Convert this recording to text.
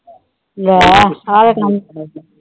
ਲੈ ਆ ਦੇਖ ਕੰਮ।